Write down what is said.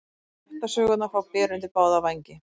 Kjaftasögurnar fá byr undir báða vængi